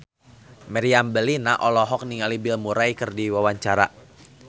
Meriam Bellina olohok ningali Bill Murray keur diwawancara